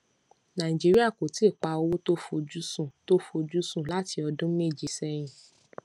nàìjíríà kò ti pa owó tó fojúsùn tó fojúsùn láti ọdún méje sẹyìn